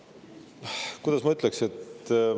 No kuidas ma ütleks …